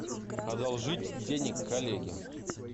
одолжить денег коллеге